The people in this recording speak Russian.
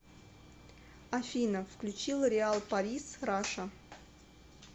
афина включи лореал парис раша